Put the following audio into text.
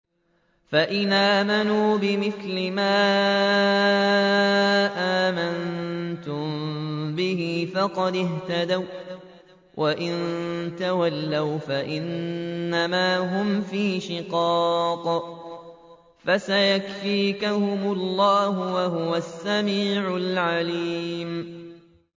فَإِنْ آمَنُوا بِمِثْلِ مَا آمَنتُم بِهِ فَقَدِ اهْتَدَوا ۖ وَّإِن تَوَلَّوْا فَإِنَّمَا هُمْ فِي شِقَاقٍ ۖ فَسَيَكْفِيكَهُمُ اللَّهُ ۚ وَهُوَ السَّمِيعُ الْعَلِيمُ